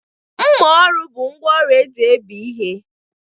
Mma ọrụ bụ ngwaọrụ eji ebéé ihe.